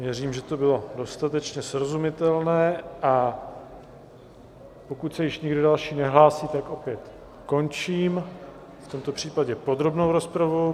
Věřím, že to bylo dostatečně srozumitelné, a pokud se již nikdo další nehlásí, tak opět končím, v tomto případě podrobnou rozpravu.